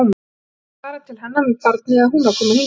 Hvort ég ætti að fara til hennar með barnið eða hún að koma hingað.